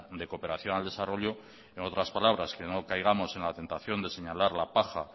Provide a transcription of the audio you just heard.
de cooperación al desarrollo en otras palabras que no caigamos en la tentación de señalar la paja